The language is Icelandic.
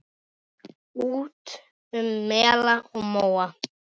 Út um mela og móa!